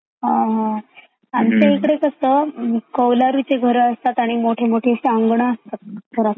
हा हा, आमचया इकडे कसा कोवरालूचे घरा असतात मोठे मोठं आंगन असतात ना.